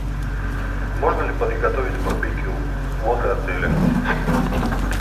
можно ли приготовить барбекю возле отеля